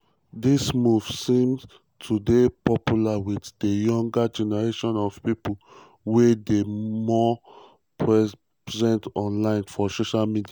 dis move seem to dey popular wit di younger generation of pipo wey dey more present online for social media.